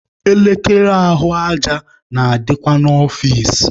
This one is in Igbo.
Elekere ahụ aja na-adịkwa n'ọfici.